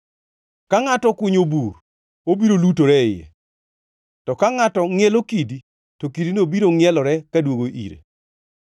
Ka ngʼato okunyo bur, obiro lutore e iye; to ka ngʼato ngʼielo kidi, to kidino biro ngʼielore kaduogo ire.